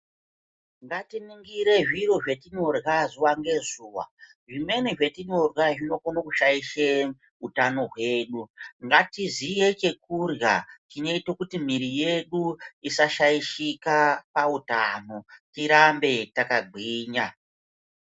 Ngatiningire zviro zvetinorya zuwa ngezuwa, zvimweni zvatinorya zvinokone kushaishe utano hwedu. Ngatiziye chekurya chinoite kuti mwiri yedu isashaishika pautano tirambe takagwinya.